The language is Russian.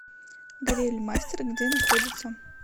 грильмастер где находится